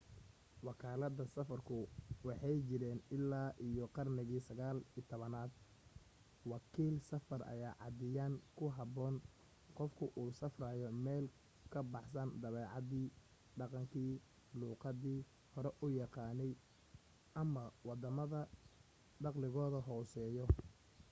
wakalaadaha safarku waxay jireen illaa iyo qarnigii 19aad wakiil safar ayaa caadiyan ku habboon qofka u safraya meel ka baxsan dabeecadii dhaqankii luuqadii hore u yaqaanay ama waddamada dakhligodu hooseeyo